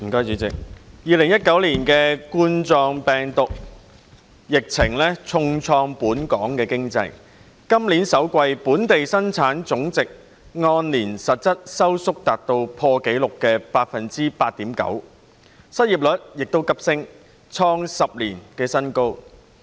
2019冠狀病毒病疫情重創本港經濟，今年首季本地生產總值按年實質收縮達破紀錄的百分之八點九，失業率亦急升，創10年新高。